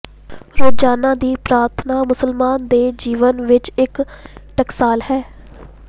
ਰੋਜ਼ਾਨਾ ਦੀ ਪ੍ਰਾਰਥਨਾ ਮੁਸਲਮਾਨ ਦੇ ਜੀਵਨ ਵਿੱਚ ਇੱਕ ਟਕਸਾਲ ਹੈ